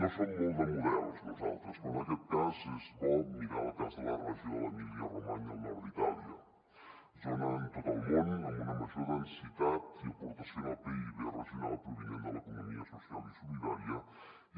no som molt de models nosaltres però en aquest cas és bo mirar el cas de la regió de l’emília romanya al nord d’itàlia zona en tot el món amb una major densitat i aportació en el pib regional provinent de l’economia social i solidària